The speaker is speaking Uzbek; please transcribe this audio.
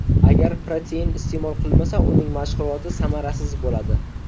Agar protein iste’mol qilmasa uning mashg‘uloti samarasiz bo‘ladi.